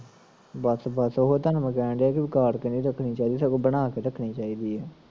ਬਸ ਬਸ ਉਹੋ ਤੁਹਾਨੂੰ ਮੈਂ ਕਹਿਣ ਡੀਆ ਕਿ ਵਿਗਾੜ ਕੇ ਨੀ ਰੱਖਣੀ ਚਾਹੀਦੀ ਸਗੋਂ ਬਨਾ ਕੇ ਰੱਖਣੀ ਚਾਹੀਦੀ ਐ